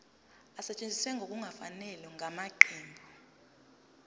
esetshenziswe ngokungafanele ngamaqembu